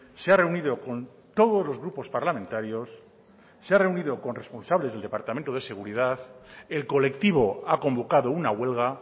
se ha reunido con todos los grupos parlamentarios se ha reunido con responsables del departamento de seguridad el colectivo ha convocado una huelga